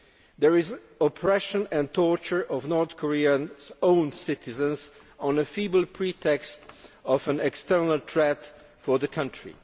There is oppression and torture of North Korea's own citizens on the feeble pretext of an external threat to the country.